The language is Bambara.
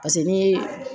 paseke n'i ye